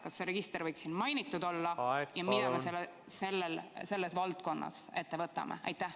Kas see register võiks siin mainitud olla ja mida me selles valdkonnas ette võtame?